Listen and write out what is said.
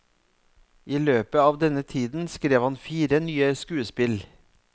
I løpet av denne tiden skrev han fire nye skuespill.